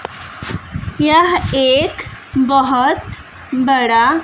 यह एक बहोत बड़ा--